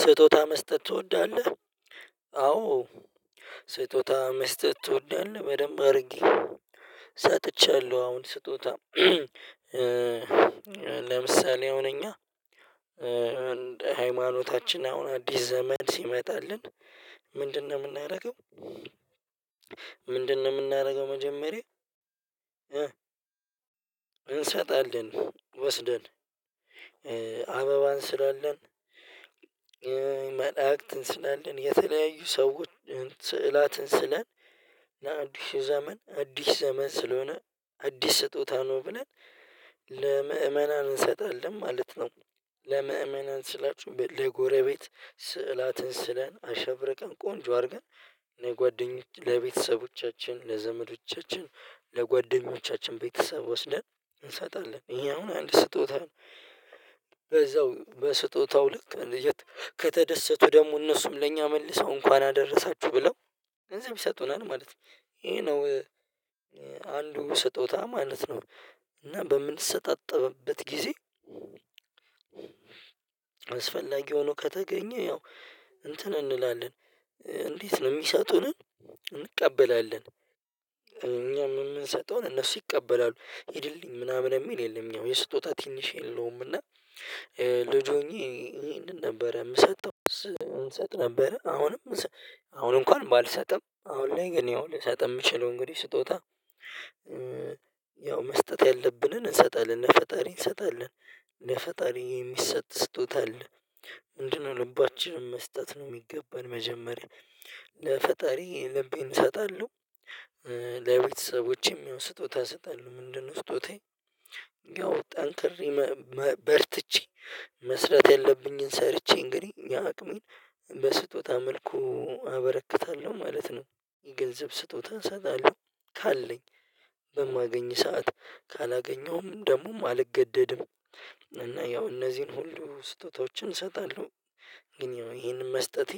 ስጦታ መስጠት ትወዳለህ? አዎ ስጦታ መስጠት ትወዳለህ በደንብ አድርጌ ሰጥቻለሁ። አሁን ስጦታ ለምሳሌ አሁን እኛ ሃይማኖታችን አሁን አዲስ ዘመን ሲመጣልን ምንድነው የምናደርገው ምንድነው የምናደርገው? መጀመሪያ እንሰጣለን ወስደን አበባን እንስላለን መላእክትን እንስላለን የተለያዩ ሰዎች ስዕላትን ስለን ያ አዲሱ ዘመን አዲስ ዘመን ስለሆነ አዲስ ስጦታ ነው ብለን ለምእመናን እንሰጣለን ማለት ነው። ለምእመናን ስላችሁ ለጎረቤት ስዕላትን ስለን አሸብርቀን ቆንጆ አድርገን ለጓደኞች ለቤተሰቦቻችን ለዘመዶቻችን ለጓደኞቻችን ቤተሰብ ወስደን እንሰጣለን እኛ አሁን አንድ ስጦታ ነው። በዛው በስጦታው ልክ ልጀት ከተደሰቱ ደግሞ እነሱም ለእኛ መልሰው እንኳን አደረሳችሁ ብለው ገንዘብ ይሰጡናል ማለት ነው ይሄ ነው። አንዱ ስጦታ ማለት ነው። እና በምንሰጣጥበበት ጊዜ አስፈላጊ ሆኖ ከተገኘ ያው እንትን እንላለን እንዴት ነው የሚሰጡንን እንቀበላለን። እኛ የምንሰጠውን እነሱ ይቀበላሉ ሂድልኝ ምናምን የሚል የለም ያው የስጦታ ትንሽ የለውም። እና ልጅ ሆኜ ይህንን ነበረ የምሰጠው እንሰጥ ነበረ። አሁንም አሁን እንኳን ባልሰጥም አሁን ላይ ግን ያው ልሰጥ የምችለው እንግዲህ ስጦታ ያው መስጠት ያለብንን እንሰጣለን ለፈጣሪ እንሰጣለን እነ ፈጣሪ የሚሰጥ ስጦታ አለ። ምንድነው ልባችንን መስጠት ነው የሚገባን መጀመርያ ለፈጣሪ ልቤን እሰጣለሁ። ለቤተሰቦቼም ያው ስጦታ እሰጣለሁ ምንድነው ስጦታዬ? ያው ጠንክሬ በርትቼ መስራት ያለብኝን ሰርቼ እንግዲህ የአቅሜን በስጦታ መልኩ አበረክታለሁ ማለት ነው። የገንዘብ ስጦታ እሰጣለሁ ካለኝ በማገኝ ሰዓት ካላገኘሁም ደግሞም አልገደድም እና ያው እነዚህን ሁሉ ስጦታዎችንእሰጣለሁ። ግን ይሄንን መስጠቴ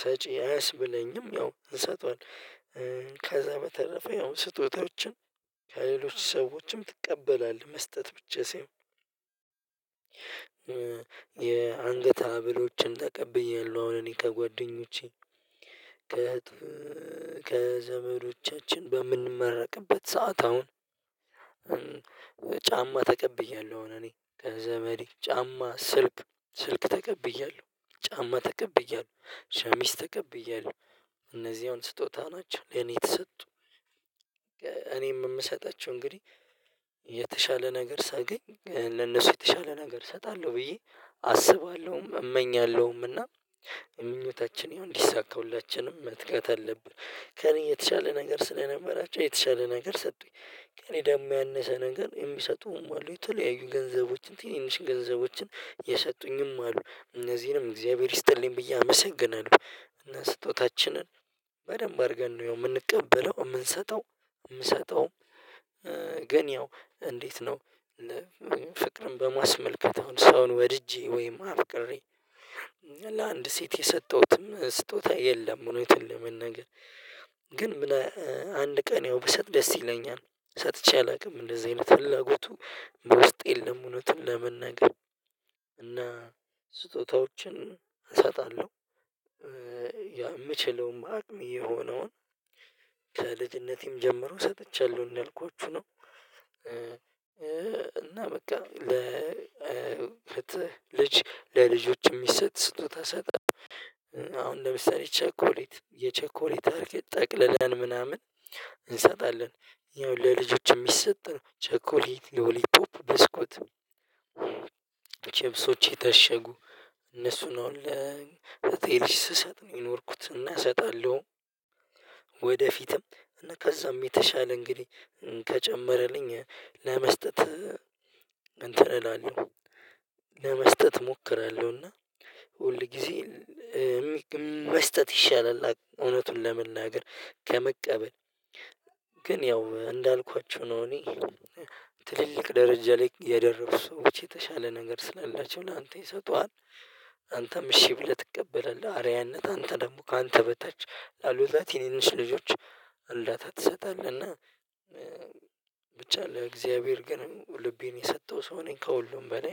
ሰጪ አያስብለኝም። ያው እንሰጠዋለን ከዛ በተረፈ ያው ስጦታዎችን ከሌሎች ሰዎችም ትቀበላለህ? መስጠት ብቸሴው የአንገት ሀብሎችን ተቀብያለሁ አሁን እኔ ከጓደኞቼ ከዘመዶቻችን በምንመረቅበት ሰዓት አሁን ጫማ ተቀብያለሁ። እኔ ከዘመዴ ጫማ ስልክ ስልክ ተቀብያለሁ ጫማ ተቀብያለሁ ሸሚዝ ተከብያለሁ እነዚህ አሁን ስጦታ ናቸው ለኔ የተሰጡ። እኔም የምሰጣቸው እንግዲህ የተሻለ ነገር ሳገኝ ለነሱ የተሻለ ነገር እሰጣለሁ ብዬ አስባለሁም እመኛለሁም እና የምኞታችን ይሁን እንዲሳካ ሁላችንም መትጋት አለብን። ከእኔ የተሻለ ነገር ስለነበራቸው የተሻለ ነገር ሰጡኝ ከእኔ ደግሞ ያነሰ ነገር የሚሰጡም አሉ የተለያዩ ገንዘቦችን ትንንሽ ገንዘቦችን የሰጡኝም አሉ እነዚህንም እግዚአብሔር ይስጥልኝ ብዬ አመሰግናለሁ። እና ስጦታችንን በደንብ አድርገን ነው የምንቀበለው የምንሰጠው የምሰጠው ግን ያው እንዴት ነው? ፍቅርን በማስመልከት አሁን ሰውን ወድጄ ወይም አፍቅሬ ለአንድ ሴት የሰጠሁትም ስጦታ የለም። እውነቱን ለመናገር ግን ምን አንድ ቀን ያው ብሰጥ ደስ ይለኛል ሰጥቼ አላውቅም እንደዚህ አይነት ፍላጎቱ ውስጥ የለም። እውነትን ለመናገር እና ስጦታዎችን እሰጣለሁ። የምችለውም አቅሜ የሆነውን ከልጅነቴም ጀምሮ ሰጥቻለሁ እንዳልኳችሁ ነው። እና በቃ ለልጆች የሚሰጥ ስጡት እሰጣለሁ አሁን ለምሳሌ ቸኮሌት የቸኮሌት አርክ ጠቅልለን ምናምን እንሰጣለን ያው ለልጆችም ሚሰጥ ነው ቸኮሌት ሎሊቶፕ ብስኩት ችፕሶች የታሸጉ እነሱን ነው ለእህቴ ልጅ ስሰጥ ነው የኖርኩት እና እሰጣለሁ። ወደፊትም እና ከዛም የተሻለ እንግዲህ ከጨመረልኝ ለመስጠት እንትን እላለሁ። ለመስጠት እሞክራለሁና ሁል ጊዜ መስጠት ይሻላል። እውነቱን ለመናገር ከመቀበል ግን ያው እንዳልኳችሁ ነው። እኔ ትልልቅ ደረጃ ላይ የደረሱ ሰዎች የተሻለ ነገር ስላላቸው ላንተ ይሰጡሃል። አንተም እሽ ብለህ ትቀበላለህ አርያነት አንተ ደግሞ ካንተ በታች ላሉት ትንንሽ ልጆች እርዳታ ትሰጣለህ እና። ብቻ ለእግዚአብሔር ግን ልቤን የሰጠሁ ሰው ነኝ ከሁሉም በላይ